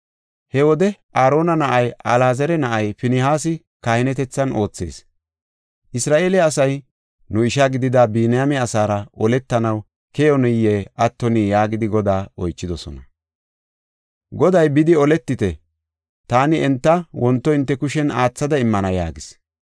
He wode Aarona na7ay, Alaazara na7ay Finihaasi kahinetethan oothees. Isra7eele asay, “Nu isha gidida Biniyaame asaara oletanaw keyinoye attino” yaagidi Godaa oychidosona. Goday, “Bidi oletite; taani enta wonto hinte kushen aathada immana” yaagis.